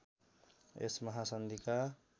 यस महासन्धिका